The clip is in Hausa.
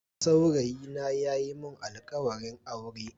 Saurayina ya yi mun alkawarin aure.